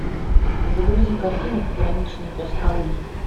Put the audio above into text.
загрузи картину пограничный пес алый